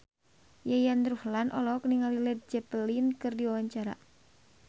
Yayan Ruhlan olohok ningali Led Zeppelin keur diwawancara